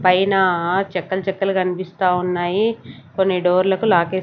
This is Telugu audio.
పైన చెక్కలు చెక్కలు కనిపిస్తా ఉన్నాయి కొన్ని డోర్లకు లాకెసీ .